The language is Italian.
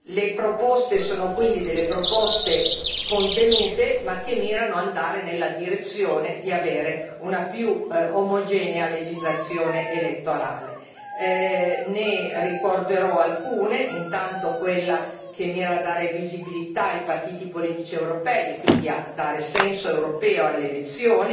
Le proposte sono quindi delle proposte contenute, ma che mirano ad andare nella direzione di avere una più omogenea legislazione elettorale. Ne ricorderò alcune intanto quella che mira a dare visibilità ai partiti politici europei, e quindi a dare senso europeo alle elezioni,